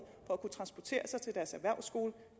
for at kunne transportere sig til deres erhvervsskole